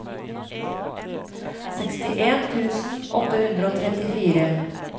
sekstien tusen åtte hundre og trettifire